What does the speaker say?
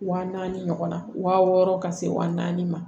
Wa naani ɲɔgɔnna wa wɔɔrɔ ka se wa naani ma